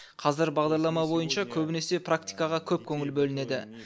қазіргі бағдарлама бойынша көбінесе практикаға көп көңіл бөлінеді